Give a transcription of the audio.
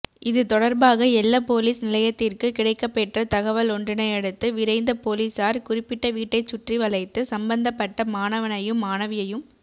இது தொடர்பாக எல்ல பொலிஸ் நிலையத்திற்கு கிடைக்கப்பெற்ற தகவலொன்றினையடுத்து விரைந்த பொலிஸார் குறிப்பிட்ட வீட்டைச் சுற்றிவளைத்து சம்பந்தப்பட்ட மாணவனையும் மாணவியையும்